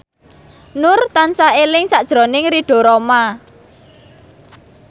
Nur tansah eling sakjroning Ridho Roma